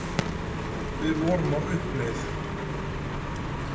Við vorum á uppleið.